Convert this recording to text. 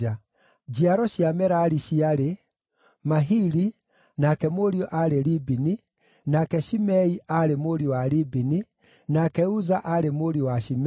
Njiaro cia Merari ciarĩ: Mahili, nake mũriũ aarĩ Libini, nake Shimei aarĩ mũriũ wa Libini, nake Uza aarĩ mũriũ wa Shimei,